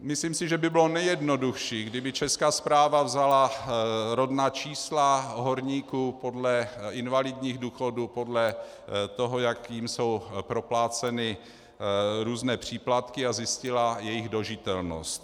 Myslím si, že by bylo nejjednodušší, kdyby Česká správa vzala rodná čísla horníků podle invalidních důchodů, podle toho, jak jim jsou propláceny různé příplatky, a zjistila jejich dožitelnost.